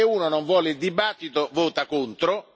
Se uno non vuole il dibattito, vota contro.